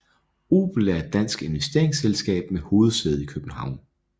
Obel er et dansk investeringsselskab med hovedsæde i København